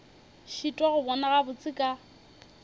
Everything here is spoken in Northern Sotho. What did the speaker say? šitwa go bona gabotse ka